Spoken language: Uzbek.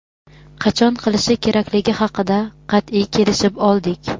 qachon qilishi kerakligi haqida qat’iy kelishib oldik.